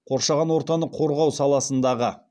қоршаған ортаны қорғау саласындағы